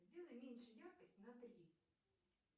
сделай меньше яркость на три